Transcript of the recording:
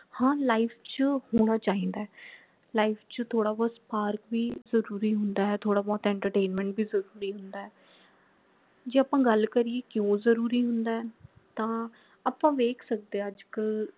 ਹਾਂ life ਚ ਹੋਣਾ ਚਾਹੀਦਾ ਹੈ life ਚ ਥੋੜਾ ਬਹੁਤ ਭੀ ਜਰੂਰੀ ਹੁੰਦਾ ਹੈ ਥੋੜਾ ਬਹੁਤ entertainment ਭੀ ਜਰੂਰੀ ਹੁੰਦਾ ਹੈ ਜੇ ਆਪਾ ਗੱਲ ਕਰੀਏ ਕਿਉਂ ਜਰੂਰੀ ਹੁੰਦਾ ਹੈ ਤਾਂ ਆਪਾ ਵੇਖ ਸਕਦੇ ਹੈ ਅੱਜ ਕਲ